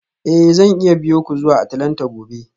Eh zan iya biyo ku zuwa Atlanta gobe